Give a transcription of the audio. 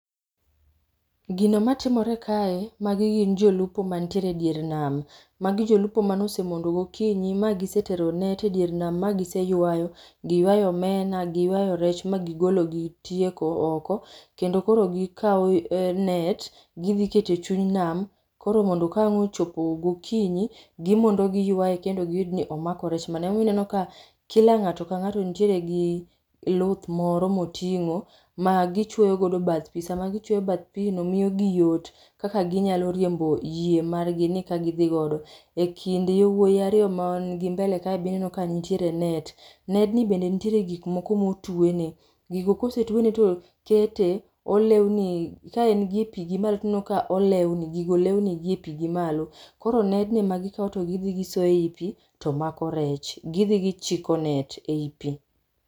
Gino matimore kae magi gin jolupo mantiere e dier nam. Magi jolupo mane osemondo gokinyi magisetero net e dier nam ma giseywayo, giywayo omena, giywayo rech ma gigolo gitieko oko kendo koro gikao net gidhi keto e chuny nam koro mondo kawang ochopo gokinyi gimondo giywaye kendo gi nenoni omako rech mane. Ema omiyo ineno ka kila ngato ka ngato nitiere gi luth moro motingo ma gichuoyo godo bath pii, sama gichuoyo godo bath pii miyo gi yot kaka ginyalo riembo yie margi ni ka gidhi godo. E kind wuoy ariyo mani mbele kae be ineno ka nitiere net[sc]. Nedni be nitiere gik moko motwene, gigo kosetwene to kete olewni kaen gie pii gimalo ineno ka olweni, gigo lewni gi e pii gimalo. Koro nedni ema gikao to gidhi gisoe e pi tomako rech, gidhi gichiko net ei pii